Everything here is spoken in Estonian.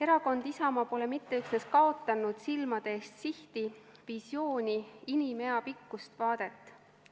Erakond Isamaa pole mitte üksnes kaotanud silmade eest sihti, visiooni, inimeapikkust vaadet.